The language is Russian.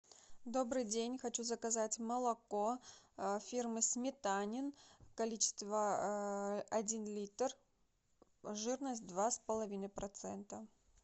добрый день хочу заказать молоко фирмы сметанин количество один литр жирность два с половиной процента